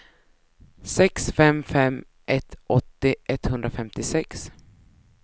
sex fem fem ett åttio etthundrafemtiosex